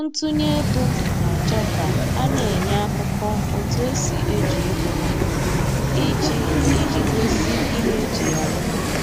ntụnye ego na-achọ ka a na-enye akụkọ otu esi eji ego ha, iji iji gosi ihe eji ya rụpụta